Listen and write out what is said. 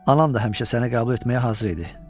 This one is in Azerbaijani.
Anam da həmişə səni qəbul etməyə hazır idi.